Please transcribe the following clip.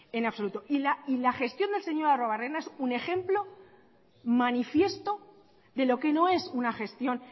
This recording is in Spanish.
en absoluto y la gestión del señor arruebarrena es un ejemplo manifiesto de lo que no es una gestión